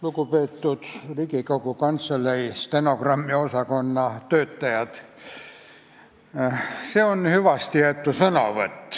Lugupeetud Riigikogu Kantselei stenogrammiosakonna töötajad!